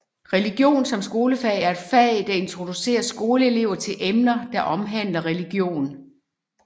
Religion som skolefag er et fag der introducerer skolelever til emner der omhandler religion